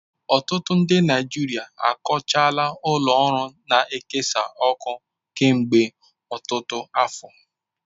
Ọtụtụ ndị Naijiria akọchaala ụlọ ọrụ na-ekesa ọkụ kemgbe ọtụtụ afọ.